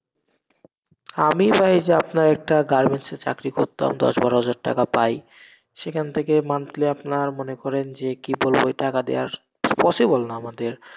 আমি ভাই এই যে আপনার একটা garments এর চাকরি করতাম, দশ বারো হাজার টাকা পাই সেখান থেকে monthly আপনার মনে করেন যে কি বলবো, এই টাকা দিয়ে আর possible না আমাদের।